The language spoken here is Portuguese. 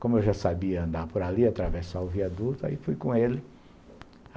Como eu já sabia andar por ali, atravessar o viaduto, aí fui com ele.